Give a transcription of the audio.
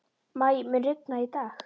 Maj, mun rigna í dag?